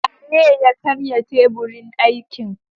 Waye ya karya teburin aikin?